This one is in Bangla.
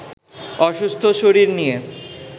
অসুস্থ শরীর নিয়ে